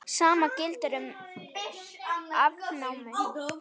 Sama gildir um afnámu.